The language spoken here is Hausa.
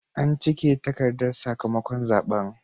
An cike takardar sakamakon zaɓen.